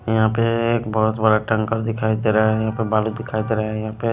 यहां पे बहोत एक बड़ा टैंकर दिखाई दे रहा है यहां पे बालू दिखाई दे रहे हैं यहां पे--